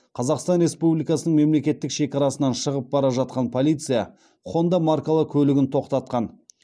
қазақстан республикасының мемлекеттік шекарасынан шығып бара жатқан полиция хонда маркалы көлігін тоқтатқан